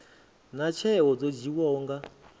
naa tsheo dzo dzhiiwaho nga